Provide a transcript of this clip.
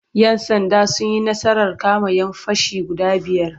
Yan'sanda sun yi nasarar kama'yan fashi guda biyar.